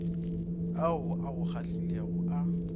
ao a go kgahlilego a